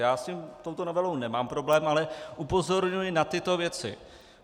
Já s touto novelou nemám problém, ale upozorňuji na tyto věci.